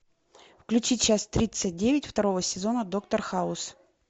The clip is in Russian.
включи часть тридцать девять второго сезона доктор хаус